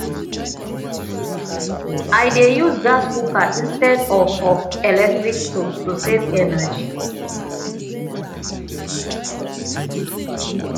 i dey use gas cooker instead of of electric stove to save energy